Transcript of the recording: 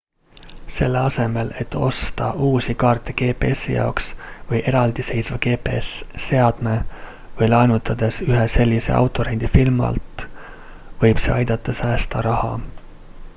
selle asemel et osta uusi kaarte gpsi jaoks või eraldiseisva gps-seadme või laenutades ühe sellise autorendifirmalt võib see aidata säästa raha